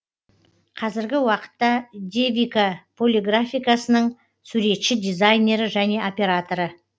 қазіргі уакытта девика полиграфикасының суретші дизайнері және операторы